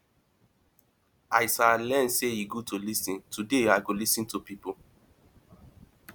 as i learn sey e good to lis ten today i go lis ten to pipo